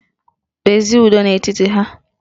Kpezie ụdọ n'etiti ha!